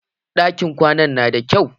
Ɗakin kwanan nan na da kyau.